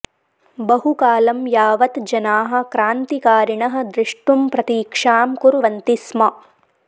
बहुकालं यावत् जनाः क्रान्तिकारिणः दृष्टुम् प्रतीक्षां कुर्वन्ति स्म